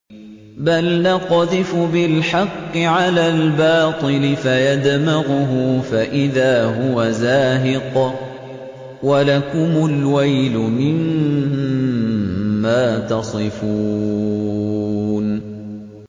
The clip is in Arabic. بَلْ نَقْذِفُ بِالْحَقِّ عَلَى الْبَاطِلِ فَيَدْمَغُهُ فَإِذَا هُوَ زَاهِقٌ ۚ وَلَكُمُ الْوَيْلُ مِمَّا تَصِفُونَ